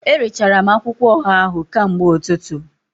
Erechara m akwụkwọ ọha ahụ kamgbe ụtụtụ